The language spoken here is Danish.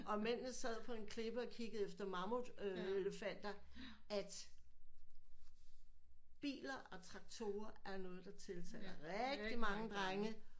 Og mændene sad på en klippe og kiggede efter mammut øh elefanter at biler og traktorer er noget der tiltaler rigtigt mange drenge